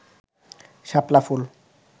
শাপলা ফুল